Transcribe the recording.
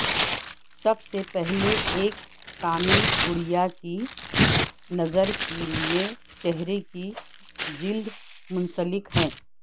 سب سے پہلے ایک کامل گڑیا کی نظر کے لئے چہرے کی جلد منسلک